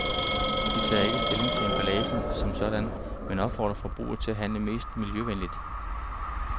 De tager ikke stilling til emballagen som sådan, men opfordrer forbruger til at handle mest miljøvenligt.